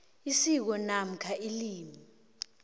isiko namkha ilimi